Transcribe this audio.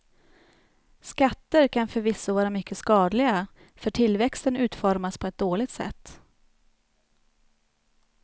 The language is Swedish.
Skatter kan förvisso vara mycket skadliga för tillväxten utformas på ett dåligt sätt.